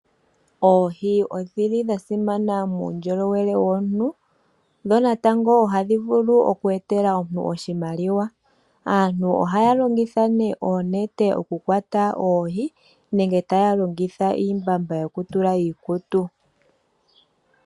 Oohi odhi li dhasimana muundjolowele womuntu, dho natango ohadhi vulu oku etela omuntu oshimaliwa. Aantu ohaya longitha ne oonete okukwata oohi nenge taya longitha iimbamba yo ku tula iikutu.